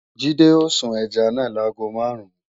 Jídé ó sun ẹja náà láago máàrún